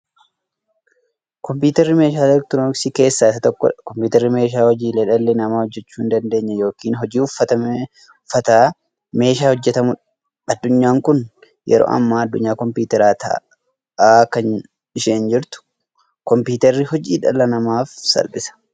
Kompuutarri meeshaalee elektirooniksii keessaa isa tokkodha. Kompuutarri meeshaa hojiilee dhalli namaa hojjachuu hindaandeenye yookiin hojii ulfaataa meeshaa hojjatamuudha. Addunyaan kun yeroo ammaa addunyaa compuutaraa ta'aat kan isheen jirtu. Compuutarri hojii dhala namaaf salphisa.